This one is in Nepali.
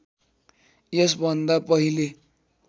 यसभन्दा पहिले